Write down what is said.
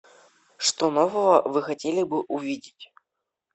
что нового вы хотели бы увидеть